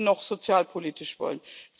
noch sozialpolitisch wollen.